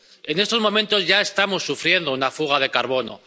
CO2. En estos momentos ya estamos sufriendo una fuga de carbono.